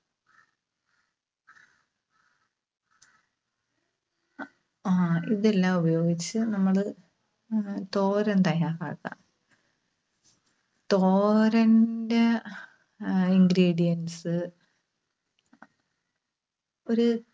ആഹ് ഇതെല്ലാം ഉപയോഗിച്ച് നമ്മള് തോരൻ തയ്യാറാക്കാം. തോരന്റെ ആഹ് ingredients ഒരു